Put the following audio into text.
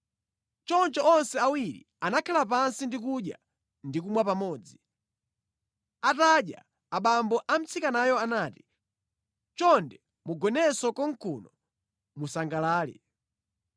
Choncho onse awiri anakhala pansi ndi kudya ndi kumwa pamodzi. Atadya, abambo a mtsikanayo anati, “Chonde mugonenso konkuno musangalale.”